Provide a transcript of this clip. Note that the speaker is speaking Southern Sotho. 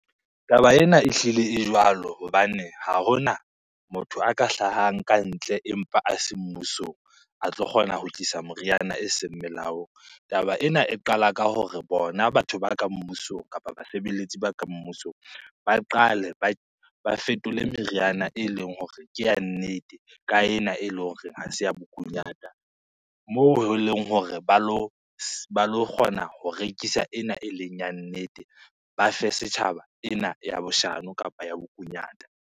Taba ena ehlile e jwalo hobane ha hona motho a ka hlahang kantle empa a se mmusong a tlo kgona ho tlisa moriana eseng melaong. Taba ena e qala ka hore bona batho ba ka mmusong kapa basebeletsi ba ka mmusong, ba qale ba fetole meriana eleng hore ke ya nnete ka ena eleng hore ha se ya bokunyata. Moo eleng hore ba lo kgona ho rekisa ena eleng ya nnete, ba fe setjhaba ena ya boshano kapa ya bokunyata.